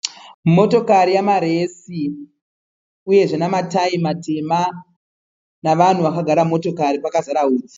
Motokari yamaresi uyezve namatayi matema navanhu vakagara mumotokari pakazara utsi.